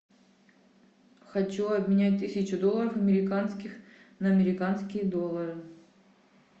хочу обменять тысячу долларов американских на американские доллары